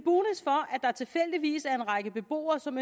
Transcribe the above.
række beboere som